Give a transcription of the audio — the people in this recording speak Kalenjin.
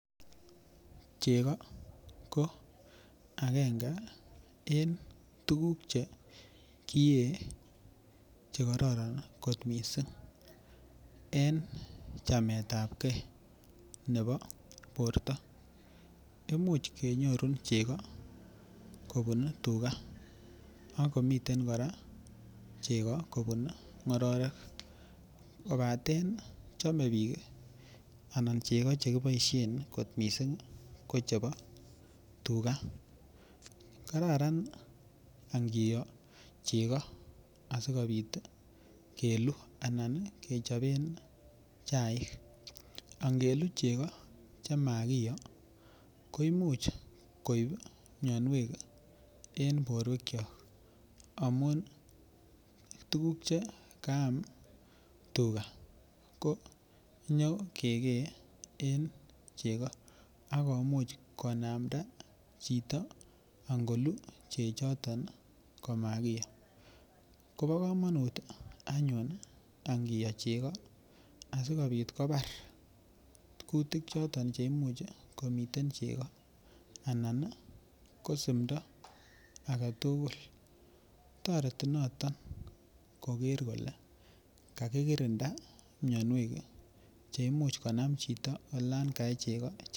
Chego ko akenge eng tuguk chekie chekororon kot mising en chamet ap kee nebo borto imuch kenyoru chego kobun tuga akomiten kora chego kobun ng'ororek kobaten chome biik anan cheko chekiboishen kot missing ko chebo tuga kararan angiyo chego asikobit kelu anan kechobe chaik angelu chego chamakiyo koimuch koip mionwek en borwek cho amun tukuk chekaam tuka ko nyokekee en chego akomuch konamta chito angolu chechoton komakiyo kobokomonut anyun angiyo chego asikobit kobar kutik choton cheimuch komiten chego enan ko simto age tugul toreti noton koker kole kakikirinda mionwek cheimuch konam chito olan kae chego.